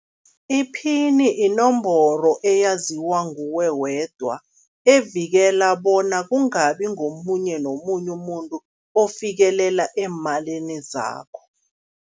Iphini inomboro eyaziwa nguwe wedwa, evikela bona kungabi ngomunye nomunye umuntu ofikelela eemalini zakho.